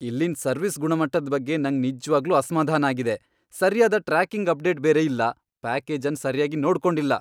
ಇಲ್ಲಿನ್ ಸರ್ವಿಸ್ ಗುಣಮಟ್ಟದ್ ಬಗ್ಗೆ ನಂಗ್ ನಿಜ್ವಾಗ್ಲೂ ಅಸ್ಮಾಧಾನ ಆಗಿದೆ. ಸರ್ಯಾದ ಟ್ರ್ಯಾಕಿಂಗ್ ಅಪ್ಡೇಟ್ ಬೇರೆ ಇಲ್ಲ ಪ್ಯಾಕೇಜ್ ಅನ್ ಸರ್ಯಾಗಿ ನೋಡ್ಕೊಂಡಿಲ್ಲ.